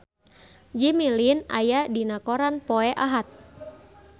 Jimmy Lin aya dina koran poe Ahad